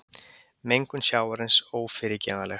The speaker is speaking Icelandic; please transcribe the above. Mengun sjávarins ófyrirgefanleg